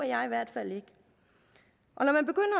jeg i hvert fald ikke